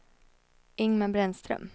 Ingmar Brännström